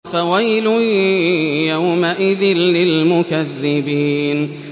فَوَيْلٌ يَوْمَئِذٍ لِّلْمُكَذِّبِينَ